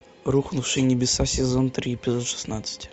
рухнувшие небеса сезон три эпизод шестнадцать